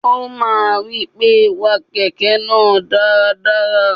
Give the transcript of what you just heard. O máa ń wí pé, wa kẹ̀kẹ́ náà dáradára.